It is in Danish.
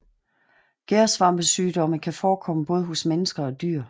Gærsvampesygdomme kan forekomme både hos mennesker og dyr